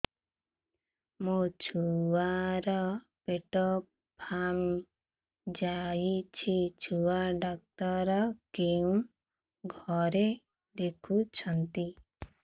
ମୋ ଛୁଆ ର ପେଟ ଫାମ୍ପି ଯାଉଛି ଛୁଆ ଡକ୍ଟର କେଉଁ ଘରେ ଦେଖୁ ଛନ୍ତି